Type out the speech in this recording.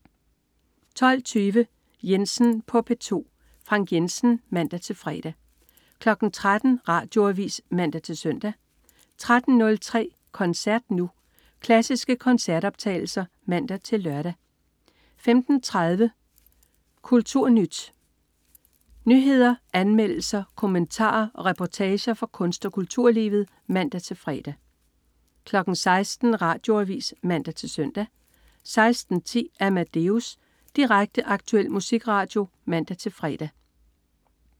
12.20 Jensen på P2. Frank Jensen (man-fre) 13.00 Radioavis (man-søn) 13.03 Koncert Nu. Klassiske koncertoptagelser (man-lør) 15.30 KulturNyt. Nyheder, anmeldelser, kommentarer og reportager fra kunst- og kulturlivet (man-fre) 16.00 Radioavis (man-søn) 16.10 Amadeus. Direkte, aktuel musikradio (man-fre)